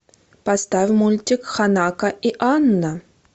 поставь мультик ханако и анна